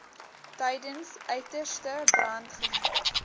tydens uiterste brandgevaar